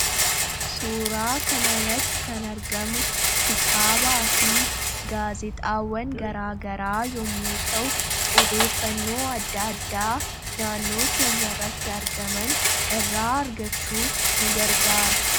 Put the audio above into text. suuraa kana irratti kan argamu kitaabaa fi gaazixaawwan garaagaraa yommuu ta'u odeeffannoo adda addaa naannoo keenya irratti argaman irraa argachuuf nu gargaara